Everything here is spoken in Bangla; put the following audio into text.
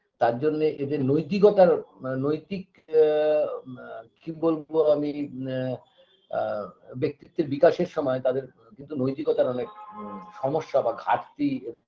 তারজন্যে এদের নৈতিকতার নৈতিক আ বা কি বলবো আমি আ আ ব্যক্তিত্বের বিকাশের সময় তাদের কিন্তু নৈতিকতা অনেক আ সমস্যা বা ঘাটতি